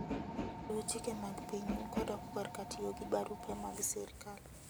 Luw chike mag pinyu kodok korka tiyo gi barupe mag sirkal.